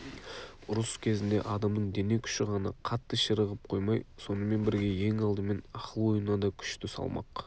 ұрыс кезінде адамның дене күші ғана қатты ширығып қоймай сонымен бірге ең алдымен ақыл ойына да күшті салмақ